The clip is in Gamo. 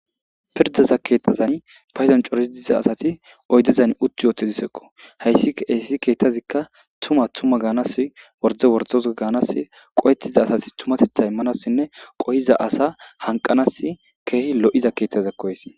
Pirdaza keettazan payzan corisi diza asati oydezan utti yootedisekko hayssi hessi keettazikka tuma tuma gaanas worde wordoza gaanas qo'ettiza asati tumatetha immanassinne qoyiza asa hanqanas keehi lo'iza keettazekkoys